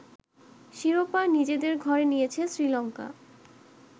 শিরোপা নিজেদের ঘরে নিয়েছে শ্রীলঙ্কা